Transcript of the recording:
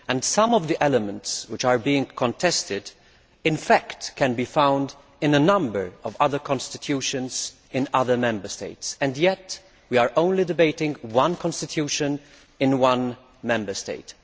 Some of the elements which are being contested can, in fact, be found in a number of other constitutions in other Member States, and yet we are only debating one constitution in one Member State.